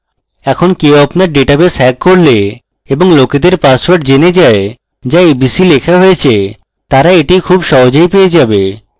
এখন কেউ আপনার ডেটাবেস hack করলে এবং লোকেদের পাসওয়ার্ড জেনে যায় যা abc লেখা হয়েছে তারা এটি খুব সহজেই পেয়ে যাবে